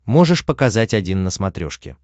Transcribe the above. можешь показать один на смотрешке